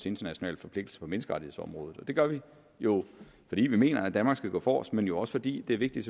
internationale forpligtelser på menneskerettighedsområdet det gør vi jo fordi vi mener at danmark skal gå forrest men vi også fordi det er vigtigt